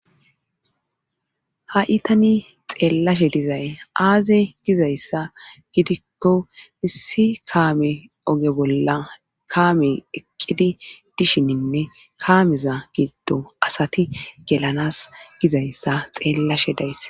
ha itani xeellashe dizay aaze gizayssa gidikko issi kaame oge bolla kaame eqqidi dishininne kaameza giddo asati gelanas gizayssa xeellashe daysse